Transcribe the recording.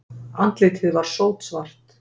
Andlitið var sótsvart.